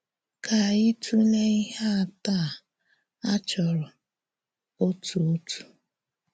Ka ányị tụ́lee íhè átọ̀ à à chọ́rọ̀ òtú òtú.